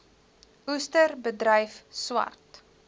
oester bedryf swart